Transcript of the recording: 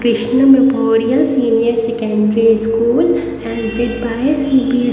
Krishna tutorials senior secondary school and with C B S --